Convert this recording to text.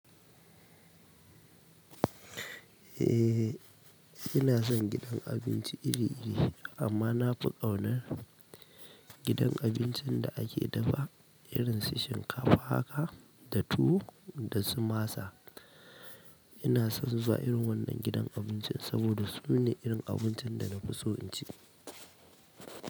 Eh ina son gidan abinci iri-iri amma na fi ƙaunar gidan abincin da ake dafa irin su shinkafa haka da tuwo da su masa. Ina son zuwa irin wannan gidan abincin saboda su ne irin abincin da na fi so in ci.